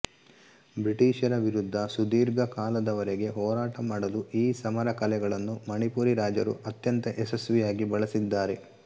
ಬ್ರಿಟಿಷರ ವಿರುದ್ಧ ಸುದೀರ್ಘ ಕಾಲದವರೆಗೆ ಹೋರಾಟ ಮಾಡಲು ಈ ಸಮರಕಲೆಗಳನ್ನು ಮಣಿಪುರಿ ರಾಜರು ಅತ್ಯಂತ ಯಶಸ್ವಿಯಾಗಿ ಬಳಸಿದ್ದಾರೆ